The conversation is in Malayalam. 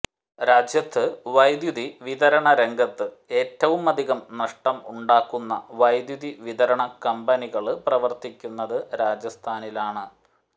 രാജ്യത്ത് വൈദ്യൂതി വിതരണ രംഗത്ത് ഏറ്റവുമധികം നഷ്ടം ഉണ്ടാക്കുന്ന വൈദ്യൂതി വിതരണ കമ്പനികള് പ്രവര്ത്തിക്കുന്നത് രാജസ്ഥാനിലാണ്